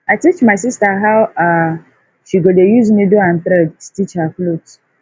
i teach my sista how um she go dey use niddle and thread stitch her clothe